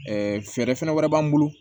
fɛɛrɛ fɛnɛ wɛrɛ b'an bolo